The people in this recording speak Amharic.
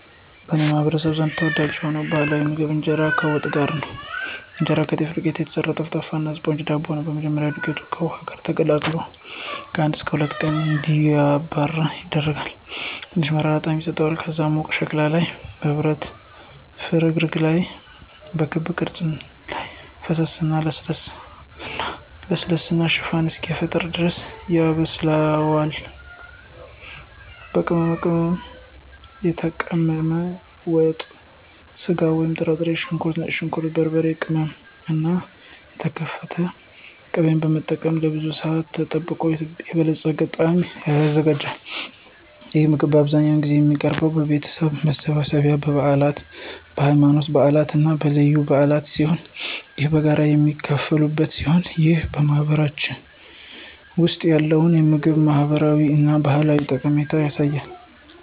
በእኔ ማህበረሰብ ዘንድ ተወዳጅ የሆነው ባህላዊ ምግብ ኢንጄራ ከዋት ጋር ነው። እንጀራ ከጤፍ ዱቄት የተሰራ ጠፍጣፋ እና ስፖንጅ ዳቦ ነው። በመጀመሪያ, ዱቄቱ ከውሃ ጋር ተቀላቅሎ ለአንድ እስከ ሁለት ቀናት እንዲራባ ይደረጋል, ትንሽ መራራ ጣዕም ይሰጠዋል. ከዚያም በሙቅ ሸክላ ወይም በብረት ፍርግርግ ላይ በክብ ቅርጽ ላይ ፈሰሰ እና ለስላሳ እና ለስላሳ ሽፋን እስኪፈጠር ድረስ ያበስላል. ዋት፣ በቅመም የተቀመመ ወጥ ስጋ ወይም ጥራጥሬ፣ ሽንኩርት፣ ነጭ ሽንኩርት፣ በርበሬ ቅመም እና የተከተፈ ቅቤን በመጠቀም ለብዙ ሰአታት ተጠብቆ የበለፀገ ጣዕም ይዘጋጃል። ይህ ምግብ አብዛኛውን ጊዜ የሚቀርበው በቤተሰብ መሰብሰቢያ፣ በበዓላት፣ በሃይማኖታዊ በዓላት እና በልዩ በዓላት ሲሆን ይህም በጋራ የሚካፈሉበት ሲሆን ይህም በማህበረሰባችን ውስጥ ያለውን የምግብ ማህበራዊ እና ባህላዊ ጠቀሜታ ያሳያል።